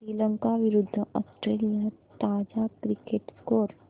श्रीलंका विरूद्ध ऑस्ट्रेलिया ताजा cricket score